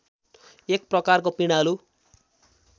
एक प्रकारको पिँडालु